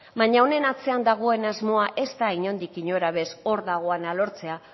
baina honen atzean dagoen asmoa ez da inondik inora ere hor dagoena lortzea